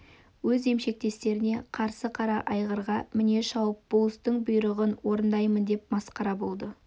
өз емшектестеріне қарсы қара айғырға міне шауып болыстың бұйрығын орындаймын деп масқара болды